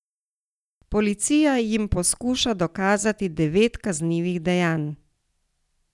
Policija jim poskuša dokazati devet kaznivih dejanj.